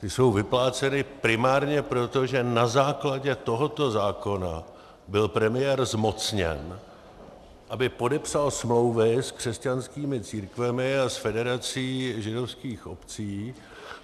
Ty jsou vypláceny primárně proto, že na základě tohoto zákona byl premiér zmocněn, aby podepsal smlouvy s křesťanskými církvemi a s Federací židovských obcí.